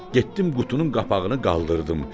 Getdim qutunun qapağını qaldırdım.